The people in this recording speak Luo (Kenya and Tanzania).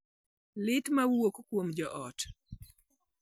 Liet ma wuok kuom joot